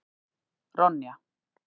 Ronja